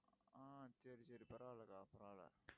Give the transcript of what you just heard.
ஆஹ் சரி, சரி பரவாயில்லை அக்கா பரவாயில்லை